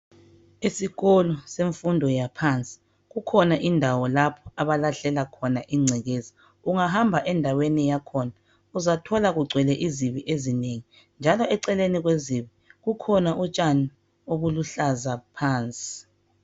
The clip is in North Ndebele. Isikolo semfundo yaphansi kukhona indawo lapho abalahlela khona ingcekeza. Ungahamba endaweni yakhona, uzathola kugcwele izibi ezinengi njalo eceleni kwezibi kukhona utshani obuluhlaza phansi.